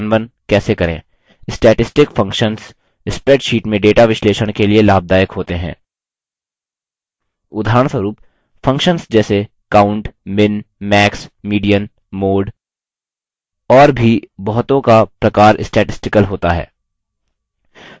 statistical functions spreadsheets में data विश्लेषण के लिए लाभदायक होते हैं